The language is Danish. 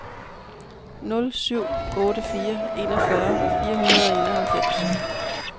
nul syv otte fire enogfyrre fire hundrede og enoghalvfems